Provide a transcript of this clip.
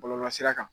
Bɔlɔlɔsira kan